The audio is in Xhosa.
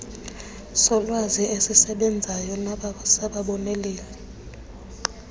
solwazi esisesbenzayo sababoneleli